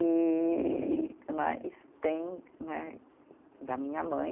E né, isso tem né da minha mãe.